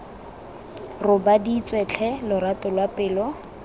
robaditswe tlhe lorato lwa pelo